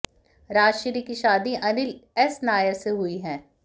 राजश्री की शादी अनिल एस नायर से हुई है